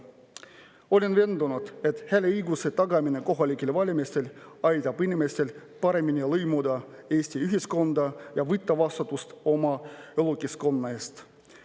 Olen veendunud, et hääleõiguse tagamine kohalikel valimistel aitab inimestel paremini lõimuda Eesti ühiskonda ja võtta vastutust oma elukeskkonna eest.